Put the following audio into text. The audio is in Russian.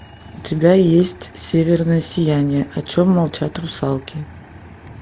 у тебя есть северное сияние о чем молчат русалки